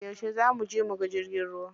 Yauce za muje muga jirgin ruwa?